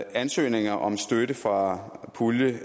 ansøgninger om støtte fra puljen